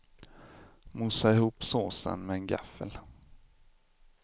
Mosa ihop såsen med en gaffel.